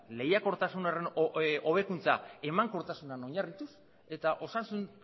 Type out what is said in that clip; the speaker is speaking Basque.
lehiakortasun horren hobekuntza emankortasunean oinarrituz eta osasun